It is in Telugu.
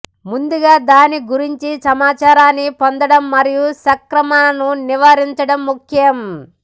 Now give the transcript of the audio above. ముందుగా దాని గురించి సమాచారాన్ని పొందడం మరియు సంక్రమణను నివారించడం ముఖ్యం